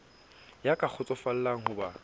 ya ka kgotsofallang ho ba